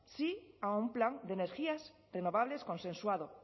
sí a un plan de energías renovables consensuado